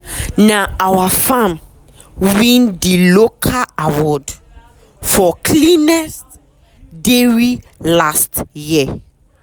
na our farm win d local award for cleanest dairy last year.